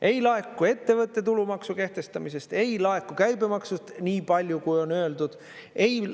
Ei laeku ettevõtte tulumaksu kehtestamisest, ei laeku käibemaksust nii palju, kui on öeldud.